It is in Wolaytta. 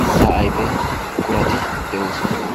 mitta ayfe buqurati de'oosona.